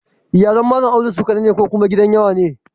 Iyalin Malam Audu su ƙaɗai ne ko kuwa gidan yawa ne?